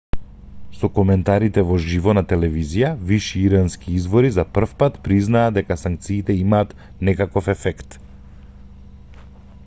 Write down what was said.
со коментарите во живо на телевизија виши ирански извори за првпат признаа дека санкциите имаат некаков ефект